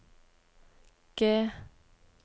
G